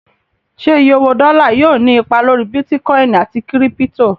Ṣé iye owó dọ́là yóò ní ipa lórí bítíkọìnì àti kírípítò?